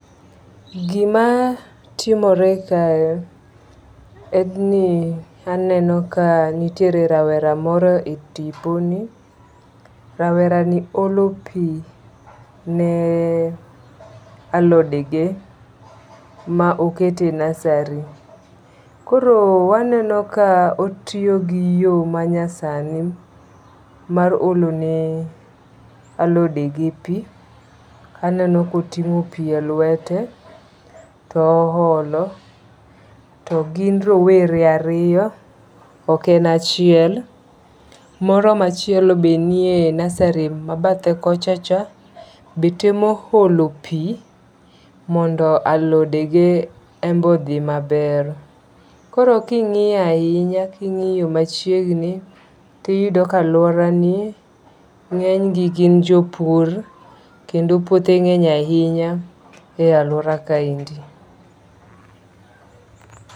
Gima timore kae en ni aneno ka nitiere rawera moro e tiponi. Rawera ni olo pi ne alode ge ma oketo e nursery. Koro waneno ka ootiyo gi yo manyasani mar olone alode ge pi. Aneno koting'o pi e lwete to olo. To gin rowere ariyo. Ok en achiel. Moro machielo be nie nursery ma bathe kocha cha be temo olo pi mondo alode ge enbe odhi maber. Koro king'iyo ahinya king'iyo machiegni tiyudo ka aluora ni ng'enygi gin jopur kendo puothe ng'eny ahinya e aluora kaendi.